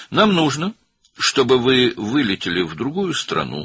Bizim sizə ehtiyacımız var ki, başqa bir ölkəyə uçasınız,